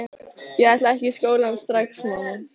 Ég ætla ekki í skólann strax, mamma!